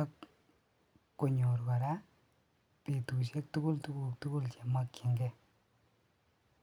ak konyor kora betushek tukul tukuk tukul chemokying'ee.